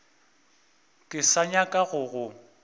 ke sa nyaka go go